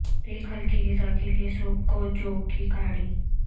ایک ہلکی غذا کے لئے سوپ کو جو کی کاڑھی